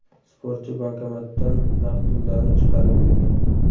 Sportchi bankomatdan naqd pullarni chiqarib bergan.